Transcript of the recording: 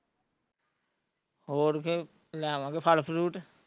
ਹੋਰ ਫੇਰ ਲੈ ਆਵਾਂਗੇ ਫ਼ਲ ਫਲੂਟ